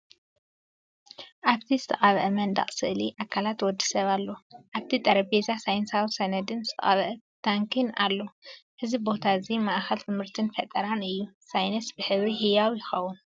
ኣብቲ ዝተቐብአ መንደቕ ስእሊ ኣካላት ወዲ ሰብ ኣሎ። ኣብቲ ጠረጴዛ ሳይንሳዊ ሰነድን ዝተቐብአ ታንኪን ኣሎ። እዚ ቦታ እዚ ማእከል ትምህርትን ፈጠራን እዩ፤ ሳይንስ ብሕብሪ ህያው ይኸውን።